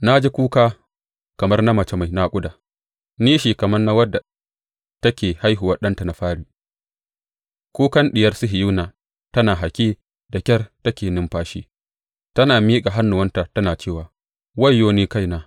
Na ji kuka kamar na mace mai naƙuda, nishi kamar na wadda take haihuwa ɗanta na fari, kukan Diyar Sihiyona tana haki, da ƙyar take numfashi, tana miƙa hannuwanta tana cewa, Wayyo ni kaina!